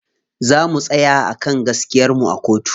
Za mu tsaya a kan gaskiyar mu a kotu.